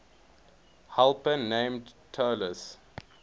helper named talus